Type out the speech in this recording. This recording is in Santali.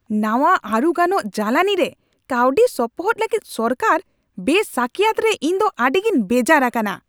ᱱᱟᱣᱟᱼᱟᱹᱨᱩ ᱜᱟᱱᱚᱜ ᱡᱟᱞᱟᱱᱤᱨᱮ ᱠᱟᱹᱣᱰᱤ ᱥᱚᱯᱚᱦᱚᱫ ᱞᱟᱹᱜᱤᱫ ᱥᱚᱨᱠᱟᱨᱟᱜ ᱵᱮᱼᱥᱟᱹᱠᱤᱭᱟᱹᱛ ᱨᱮ ᱤᱧᱫᱚ ᱟᱹᱰᱤᱜᱮᱧ ᱵᱮᱡᱟᱨ ᱟᱠᱟᱱᱟ ᱾